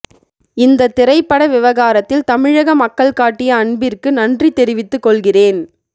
இந்த திரைப்பட விவகாரத்தில் தமிழக மக்கள் காட்டிய அன்பிற்கு நன்றி தெரிவித்துக் கொள்கிறேன்